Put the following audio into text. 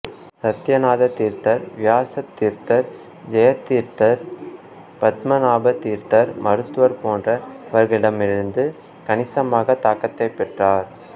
சத்தியநாத தீர்த்தர் வியாசதீர்த்தர் ஜெயதீர்த்தர் பத்மநாப தீர்த்தர் மத்துவர் போன்றவர்களிடமிருந்து கணிசமாக தாக்கத்தை பெற்றார்